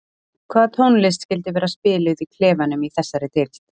Hvað tónlist skyldi vera spiluð í klefanum í þessari deild?